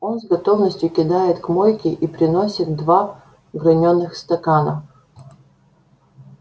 он с готовностью кидает к мойке и приносит два гранёных стакана